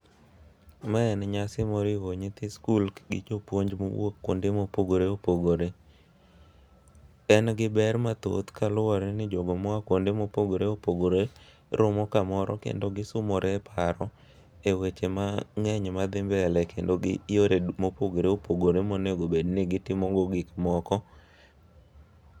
Mae en nyasi moriwo nyithi skul gi jopuonj mowuok kuonde mopogore opogore. En gi ber mathoth kaluwore ni jogo moa kuonde mopogore opogore romo kamoro kendo gisumore paro e weche mang'eny madhi mbele kendo gi yore du mopogore opogore monego bed ni gitimo go gik moko.